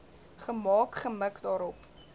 gemaak gemik daarop